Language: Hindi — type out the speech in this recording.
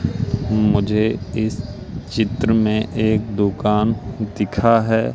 मुझे इस चित्र में एक दुकान दिखा है।